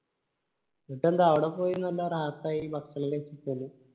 എന്നട്ട് എന്ത് ആട പോയി നല്ല റാഹത്തായി ഭക്ഷണേലു കയിച്ചിട്ട് വന്ന്